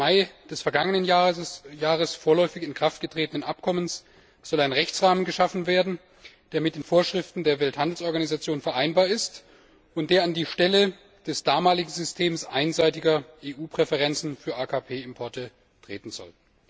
14. Mai des vergangenen Jahres vorläufig in Kraft getretenen Abkommen soll ein Rechtsrahmen geschaffen werden, der mit den Vorschriften der Welthandelsorganisation vereinbar ist und der an die Stelle des damaligen Systems einseitiger EU Präferenzen für AKP Importe treten soll.